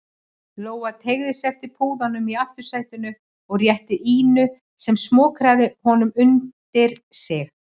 Lóa teygði sig eftir púðanum í aftursætinu og rétti Ínu sem smokraði honum undir sig.